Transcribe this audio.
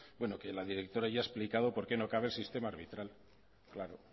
que la directora ya ha explicado por qué no cabe el sistema arbitral claro